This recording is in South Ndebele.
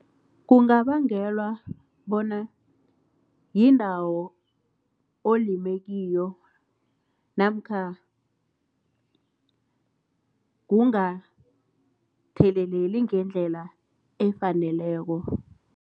Kungabangelwa bona yindawo olime kiyo namkha kungatheleleli ngendlela efaneleko.